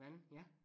Vandel ja